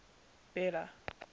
bela